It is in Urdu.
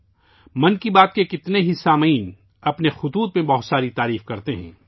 'من کی بات' کے بہت سے سامعین اپنے خطوط میں بہت ساری تعریفیں کرتے ہیں